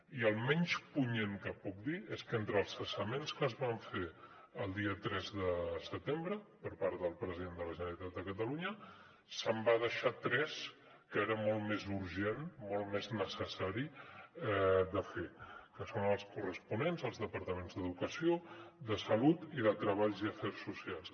i el menys punyent que puc dir és que entre els cessaments que es van fer el dia tres de setembre per part del president de la generalitat de catalunya se’n va deixar tres que era molt més urgent molt més necessari de fer que són els corresponents als departaments d’educació de salut i de treball i afers socials